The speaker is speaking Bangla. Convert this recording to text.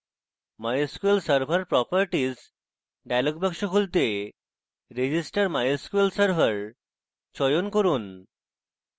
mysql server properties dialog box খুলতে register mysql server চয়ন করুন